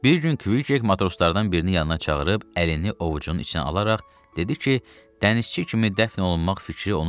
Bir gün Kviçek matroslardan birini yanına çağırıb əlini ovucun içinə alaraq dedi ki,